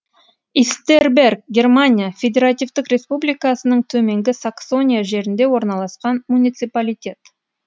истерберг германия федеративтік республикасының төменгі саксония жерінде орналасқан муниципалитет